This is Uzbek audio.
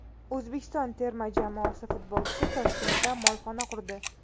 O‘zbekiston terma jamoasi futbolchisi Toshkentda molxona qurdi.